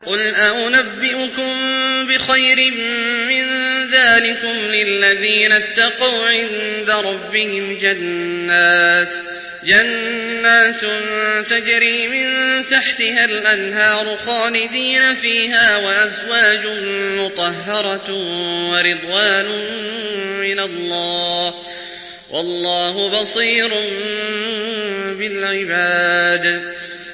۞ قُلْ أَؤُنَبِّئُكُم بِخَيْرٍ مِّن ذَٰلِكُمْ ۚ لِلَّذِينَ اتَّقَوْا عِندَ رَبِّهِمْ جَنَّاتٌ تَجْرِي مِن تَحْتِهَا الْأَنْهَارُ خَالِدِينَ فِيهَا وَأَزْوَاجٌ مُّطَهَّرَةٌ وَرِضْوَانٌ مِّنَ اللَّهِ ۗ وَاللَّهُ بَصِيرٌ بِالْعِبَادِ